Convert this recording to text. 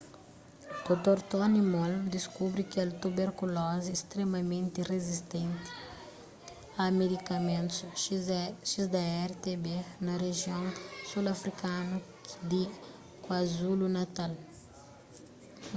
dr. tony moll deskubri kel tuberkulozi stremamenti rizistenti a medikamentus xdr-tb na rijion sul afrikanu di kwazulu-natal